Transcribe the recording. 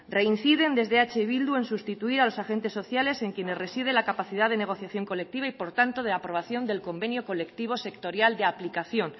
reinciden desde eh bildu en sustituir a los agentes sociales en quienes reside la capacidad de negociación colectiva y por tanto de aprobación del convenio colectivo sectorial de aplicación